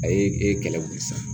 A ye e kɛlɛ wuli sisan